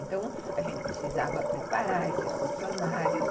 Então, a gente precisava preparar esses funcionários.